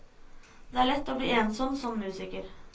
Det er lett å bli ensom som musiker.